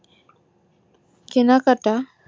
কেনাকাটা